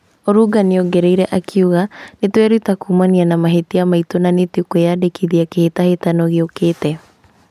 Olunga nĩongereire akauga "Nĩtweruta kumana na mahĩtia maitũ na nĩtũkwĩyandĩkithia kĩhĩtahĩtano gĩukĩte"